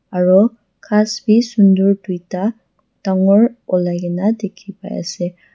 aro ghas bi sunder tuita dangor olai kaena dikhipa ase.